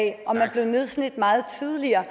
blev nedslidt meget tidligere